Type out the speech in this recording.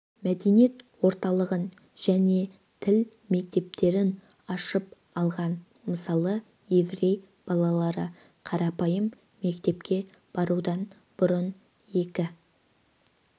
мәдениет орталығын және тіл мектептерін ашып алған мысалы еврей балалары қарапайым мектепке барудан бұрын екі